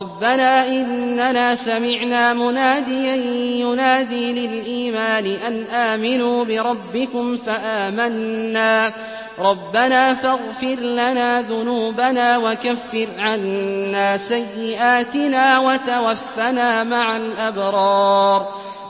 رَّبَّنَا إِنَّنَا سَمِعْنَا مُنَادِيًا يُنَادِي لِلْإِيمَانِ أَنْ آمِنُوا بِرَبِّكُمْ فَآمَنَّا ۚ رَبَّنَا فَاغْفِرْ لَنَا ذُنُوبَنَا وَكَفِّرْ عَنَّا سَيِّئَاتِنَا وَتَوَفَّنَا مَعَ الْأَبْرَارِ